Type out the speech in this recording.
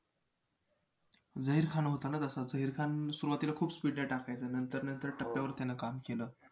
झहीर खान होता ना तसा झहीर खान सुरवातीला खूप speed न टाकायचा. नंतर नंतर टप्प्यावर त्यानं काम केलं.